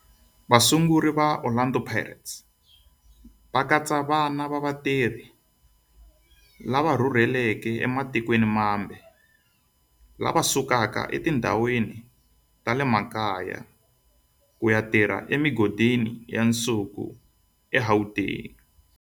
Vasunguri va Orlando Pirates va katsa vana va vatirhi lava rhurhelaka ematikweni mambe lava rhurheleke etindhawini ta le makaya ku ya tirha emigodini ya nsuku eGauteng.